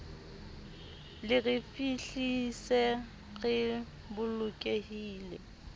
le re fihlise re bolokehile